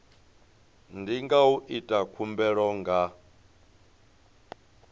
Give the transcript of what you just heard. ndi u ita khumbelo nga